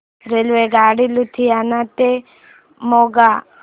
रेल्वेगाडी लुधियाना ते मोगा